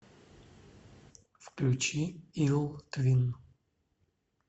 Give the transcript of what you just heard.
включи ил твин